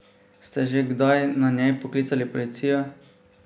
Ste že kdaj na njej poklicali policijo?